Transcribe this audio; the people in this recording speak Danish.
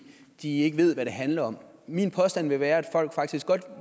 de ikke ved hvad det handler om min påstand vil være at folk faktisk godt